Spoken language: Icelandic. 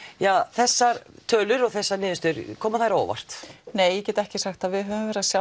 þessar tölur og þessar niðurstöður koma þær á óvart nei ég get ekki sagt það við höfum verið að sjá